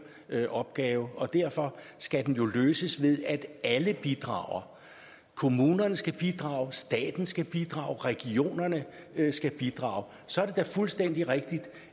opgave og derfor skal den løses ved at alle bidrager kommunerne skal bidrage staten skal bidrage regionerne skal bidrage så er det da fuldstændig rigtigt